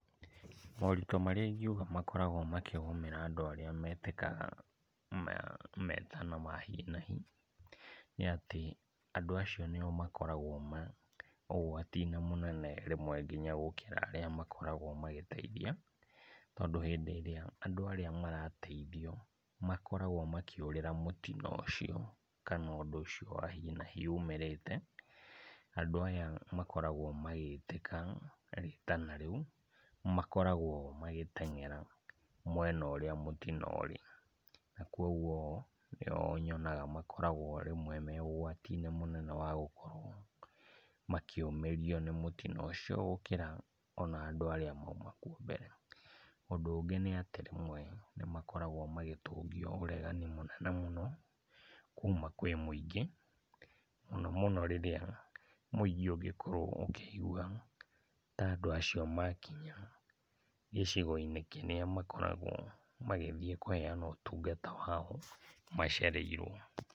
Moritũ marĩa ingiuga makoragwo makĩgũmĩra andũ arĩa metĩkaga metana ma hi na hi nĩatĩ, andũ acio nĩo makoragwo ma ũgwati-inĩ mũnene rĩmwe kinya gũkĩra arĩa makoragwo magĩteithia, tondũ hĩndĩ ĩrĩa andũ arĩa marateithio makoragwo makĩũrĩra mũtino ũcio kana ũndũ ũcio wa hi na hi umĩrĩte, andũ aya makoragwo magĩtĩka rĩtana rĩu, makoragwo magĩtengera mwena ũrĩa mũtino ũrĩ, na kuoguo nĩo nyonaga makoragwo rĩmwe me ũgwati-inĩ mũnene wa gũkorwo makĩũmĩrio nĩ mũtino ũcio gũkĩra ona andũ arĩa mauma kũo mbere. Ũndũ ũngĩ nĩ atĩ rĩmwe nĩmakoragwo magĩtũngio ũregani mũnene mũno kuma kwĩ mũingĩ, mũno mũno rĩrĩa mũingĩ ũngĩkorwo ũkĩigua ta andũ acio makinya gĩcigo-inĩ kĩrĩa makoragwo magĩthiĩ kũheana ũtungata wao macereirwo.